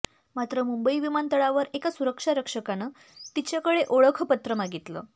मात्र मुंबई विमानतळावर एका सुरक्षा रक्षकानं तिच्याकडे ओळखपत्र मागितलं